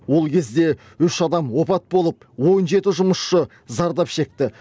ол кезде үш адам опат болып он жеті жұмысшы зардап шекті